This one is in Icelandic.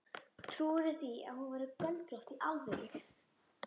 Trúirðu því að hún hafi verið göldrótt. í alvöru?